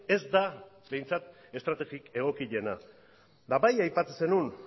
ez da behintzat estrategi egokiena eta bai aipatzen zenuen